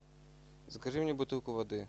закажи мне бутылку воды